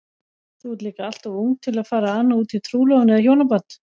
Þú ert líka alltof ung til að fara að ana útí trúlofun eða hjónaband.